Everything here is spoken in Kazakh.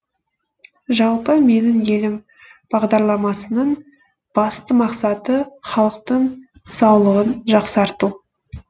жалпы менің елім бағдарламасының басты мақсаты халықтың саулығын жақсарту